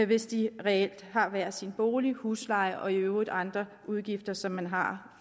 hvis de reelt har hver sin bolig husleje og i øvrigt andre udgifter som man har